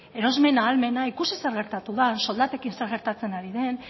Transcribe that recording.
erosmen ahalmena ikusi zer gertatu den soldatekin zer gertatzen ari den